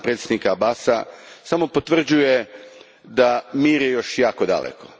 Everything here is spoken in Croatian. predsjednika Abbasa samo potvrđuje da je mir još jako daleko.